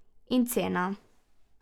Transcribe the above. In cena?